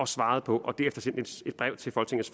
svare på